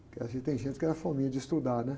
Porque às vezes tem gente que era fominha de estudar, né?